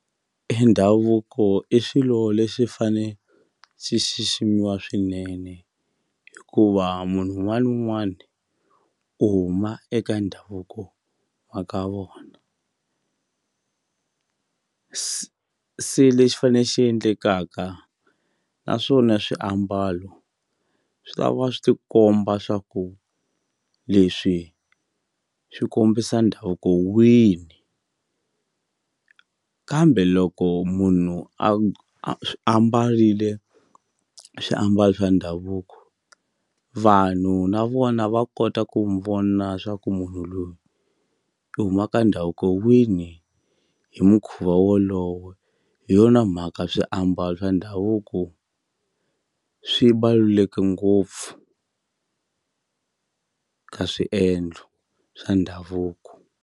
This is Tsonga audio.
E ndhavuko i xilo lexi fane xi xiximiwa swinene hikuva munhu wun'wani ni un'wani u huma eka ndhavuko wa ka vona se se lexi fane xi endlekaka naswona swiambalo swi lava swi ti komba swa ku leswi swi kombisa ndhavuko wini kambe loko munhu a a mbarile swiambalo swa ndhavuko vanhu na vona va kota ku n'wi vona swa ku munhu loyi i huma ka ndhavuko wini hi mukhuva wolowe hi yona mhaka swiambalo swa ndhavuko swi ngopfu ka swiendlo swa ndhavuko.